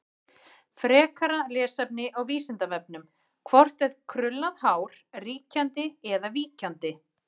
Frekara lesefni á Vísindavefnum: Hvort er krullað hár ríkjandi eða víkjandi?